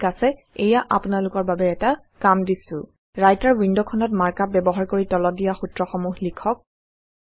ঠিক আছে এইয়া আপোনালোকৰ বাবে এটা কাম দিছো ৰাইটাৰ ৱিণ্ড খনত মাৰ্ক আপ ব্যৱহাৰ কৰি তলত দিয়া সূত্ৰসমূহ লিখক